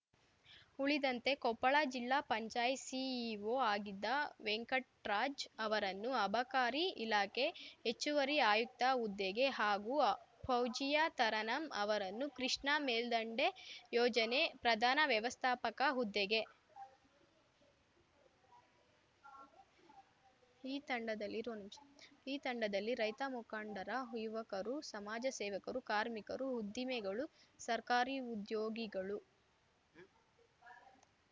ಉಳಿದಂತೆ ಕೊಪ್ಪಳ ಜಿಲ್ಲಾ ಪಂಚಾಯತ್‌ ಸಿಇಒ ಆಗಿದ್ದ ವೆಂಕಟ್‌ರಾಜ್ ಅವರನ್ನು ಅಬಕಾರಿ ಇಲಾಖೆ ಹೆಚ್ಚುವರಿ ಆಯುಕ್ತ ಹುದ್ದೆಗೆ ಹಾಗೂ ಫೌಜೀಯಾ ತರನಂ ಅವರನ್ನು ಕೃಷ್ಣಾ ಮೇಲ್ದಂಡೆ ಯೋಜನೆ ಪ್ರಧಾನ ವ್ಯವಸ್ಥಾಪಕ ಹುದ್ದೆಗೆ